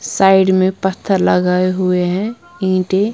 side में पत्थर लगाए हुए हैं ईंट --